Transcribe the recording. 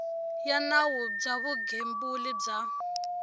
ya nawu bya vugembuli bya